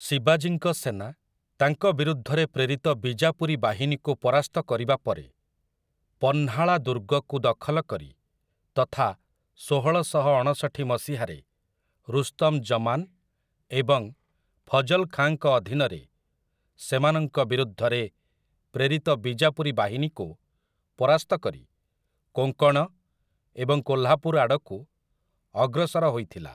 ଶିବାଜୀଙ୍କ ସେନା, ତାଙ୍କ ବିରୁଦ୍ଧରେ ପ୍ରେରିତ ବିଜାପୁରୀ ବାହିନୀକୁ ପରାସ୍ତ କରିବା ପରେ, ପହ୍ନାଳା ଦୁର୍ଗକୁ ଦଖଲ କରି ତଥା ଷୋହଳଶହଅଣଷଠି ମସିହାରେ ରୁସ୍ତମ୍ ଜମାନ୍ ଏବଂ ଫଜଲ୍ ଖାଁଙ୍କ ଅଧୀନରେ ସେମାନଙ୍କ ବିରୁଦ୍ଧରେ ପ୍ରେରିତ ବିଜାପୁରୀ ବାହିନୀକୁ ପରାସ୍ତ କରି, କୋଙ୍କଣ ଏବଂ କୋହ୍ଲାପୁର ଆଡ଼କୁ ଅଗ୍ରସର ହୋଇଥିଲା ।